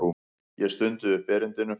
Ég stundi upp erindinu.